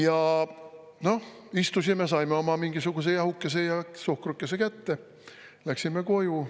Ja noh, istusime, saime oma mingisuguse jahukese ja suhkrukese kätte, läksime koju.